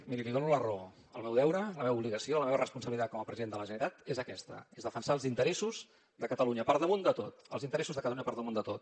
miri li dono la raó el meu deure la meva obligació la meva responsabilitat com a president de la generalitat és aquesta és defensar els interessos de catalunya per damunt de tot els interessos de catalunya per damunt de tot